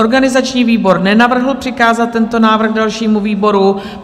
Organizační výbor nenavrhl přikázat tento návrh dalšímu výboru.